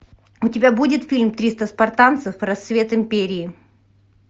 у тебя будет фильм триста спартанцев рассвет империи